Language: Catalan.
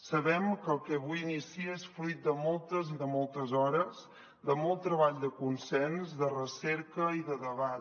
sabem que el que avui inicia és fruit de moltes i de moltes hores de molt treball de consens de recerca i de debat